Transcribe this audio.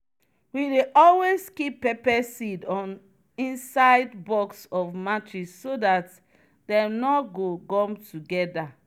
we dey always keep pepper seed on inside box of matches so that dem nor go gum together.